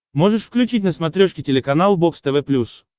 можешь включить на смотрешке телеканал бокс тв плюс